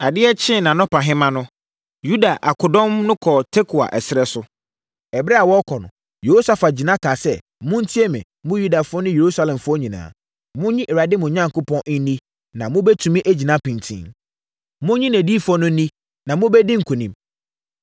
Adeɛ kyee nʼanɔpahema no, Yuda akodɔm no kɔɔ Tekoa ɛserɛ so. Ɛberɛ a wɔrekɔ no, Yehosafat gyina kaa sɛ, “Montie me, mo Yudafoɔ ne Yerusalemfoɔ nyinaa. Monnye Awurade, mo Onyankopɔn, nni na mobɛtumi agyina pintinn. Monnye nʼadiyifoɔ no nni, na mobɛdi nkonim.”